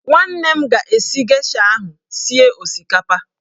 Nwanne m ga-esi gesha ahụ sie osikapa